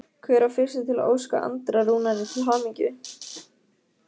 Hver var fyrstur til að óska Andra Rúnari til hamingju?